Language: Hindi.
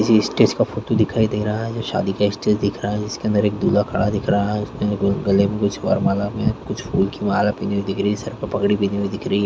पीछे स्टेज का फोटो दिखाई दे रहा है शादी का स्टेज दिख रहा है जिसके अन्दर एक दूल्हा खड़ा दिख रहा है उसके गले में कुछ वरमाला पहने कुछ फूल की माला पिनी हुई दिख रही है सर पे पगड़ी पहनी हुई दिख रही है।